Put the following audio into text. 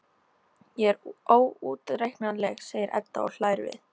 Ég er óútreiknanleg, segir Edda og hlær við.